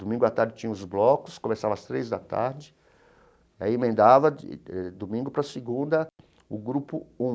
Domingo à tarde tinha os blocos, começava às três da tarde, aí emendava de domingo para segunda o grupo um.